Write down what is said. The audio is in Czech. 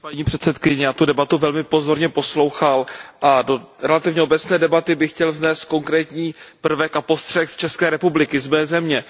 Paní předsedající, já jsem tu debatu velmi pozorně poslouchal a do relativně obecné debaty bych chtěl vznést konkrétní prvek a postřeh z České republiky, z mé země.